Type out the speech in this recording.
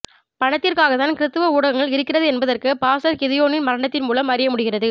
பணத்திற்காக தான் கிறிஸ்தவ ஊடகங்கள் இருக்கிறது என்பதற்கு பாஸ்டர் கிதியோனின் மரணத்தின் மூலம் அறிய முடிகிறது